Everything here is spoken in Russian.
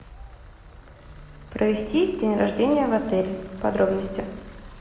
провести день рождения в отеле подробности